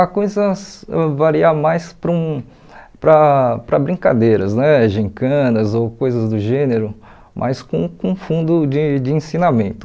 A coisas varia mais para um para para brincadeiras né, gincanas ou coisas do gênero, mas com com fundo de de ensinamento.